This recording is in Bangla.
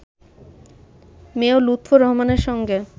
মেয়র লুৎফর রহমানের সঙ্গে